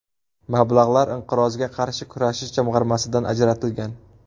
Mablag‘lar Inqirozga qarshi kurashish jamg‘armasidan ajratilgan.